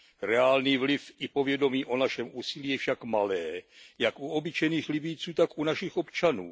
Reálný vliv i povědomí o našem úsilí je však malé jak u obyčejných Libyjců, tak u našich občanů.